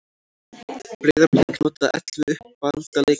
Breiðablik notaði ellefu uppalda leikmenn